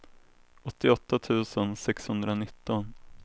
åttioåtta tusen sexhundranitton